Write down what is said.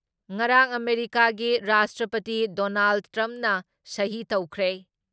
ꯉꯔꯥꯡ ꯑꯥꯃꯦꯔꯤꯀꯥꯒꯤ ꯔꯥꯁꯇ꯭ꯔꯄꯇꯤꯗꯣꯅꯥꯜꯗ ꯇ꯭ꯔꯝꯞꯅ ꯁꯍꯤ ꯇꯧꯈ꯭ꯔꯦ ꯫